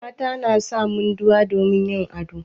Mata na sa munduwa domin yin ado.